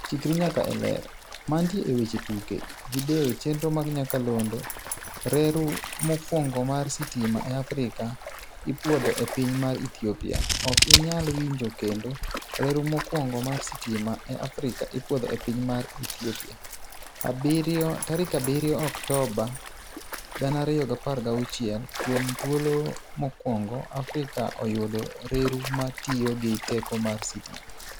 Chikri nyaka e Ler. Mantie e weche tuke. Video chenro mag nyakalondo. Reru mokwongo mar sitima e Afrika ipuodho e piny mar Ethiopia. Ok inyal winjo kendo. Reru mokwongo mar sitima e Afrika ipuodho e piny mar Ethiopia, 7 Oktoba 2016. Kuom thuolo mokwongo Afrika oyudo reru ma tiyo gi teko mar sitima.